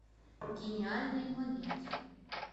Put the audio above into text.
гениальные младенцы